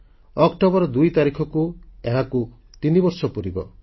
October 2 ତାରିଖକୁ ଏହାକୁ ତିନବର୍ଷ ପୁରିବ